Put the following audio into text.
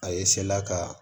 A ye la ka